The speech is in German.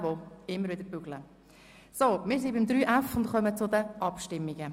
Wir sind bei Kapitel 3.f Personal und kommen zu den Abstimmungen.